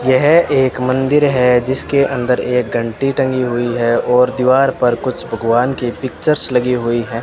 यह एक मंदिर है जिसके अंदर एक घंटी टंगी हुई है और दीवार पर कुछ भगवान की पिक्चर्स लगी हुई है।